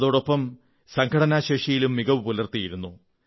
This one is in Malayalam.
ഇതോടൊപ്പം സംഘടനാശേഷിയിലും മികവു പുലർത്തിയിരുന്നു